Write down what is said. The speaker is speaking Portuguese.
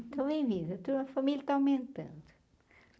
bem-vindo, eu tenho uma família que está aumentando.